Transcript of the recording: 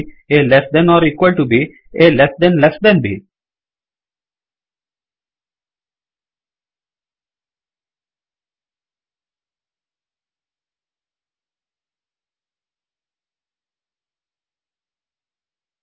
A less than or equal to B A less than less than B